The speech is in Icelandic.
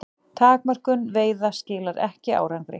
Takmörkun veiða skilar ekki árangri